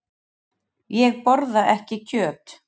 Ég borða ekki kjöt.